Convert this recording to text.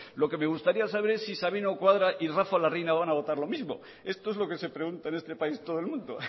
lo que me gustaría saber es si sabino cuadra y rafa larreina van a votar lo mismo esto es lo que se pregunta en este país todo el mundo